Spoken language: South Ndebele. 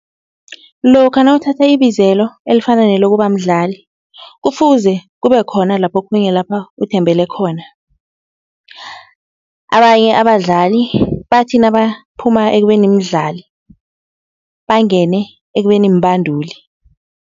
Lokha nawuthatha ibizelo elifana nelokuba mdlali, kufuze kube khona lapho khunye lapha uthembele khona. Abanye abadlali bathi nabaphuma ekubeni mdlali, bangene ekubeni mbanduli.